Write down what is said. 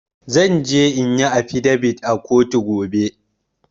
Zan je inyi affidavit a kotu gobe.